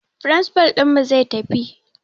Firinsifal ɗinmu zai tafi